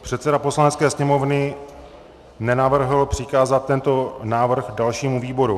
Předseda Poslanecké sněmovny nenavrhl přikázat tento návrh dalšímu výboru.